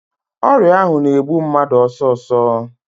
Ọrịa ahụ na-egbu mmadụ ọsọsọ.